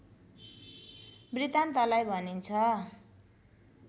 वृतान्तलाई भनिन्छ